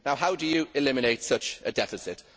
How do you eliminate such a deficit?